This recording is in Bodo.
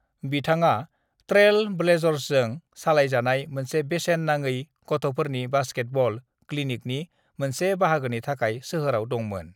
बिथाङा ट्रेल ब्लेज़र्सजों सालायजानाय मोनसे बेसेन नाङै गथफोरनि बास्केटबल क्लिनिकनि मोनसे बाहागोनि थाखाय सोहोराव दंमोन।